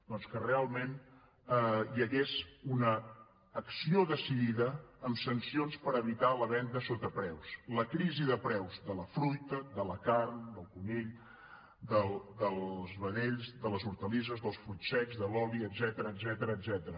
doncs que realment hi hagués una acció decidida amb sancions per evitar la venda sota preu la crisi de preus de la fruita de la carn del conill dels vedells de les hortalisses dels fruits secs de l’oli etcètera